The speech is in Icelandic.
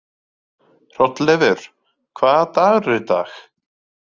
Hrolleifur, hvaða dagur er í dag?